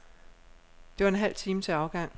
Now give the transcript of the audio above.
Der var en halv time til afgang.